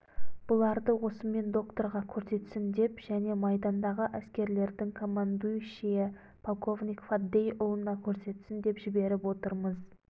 бұларды осымен докторға көрсетсін деп және майдандағы әскерлердің командующиі полковник фаддейұлына көрсетсін деп жіберіп отырмыз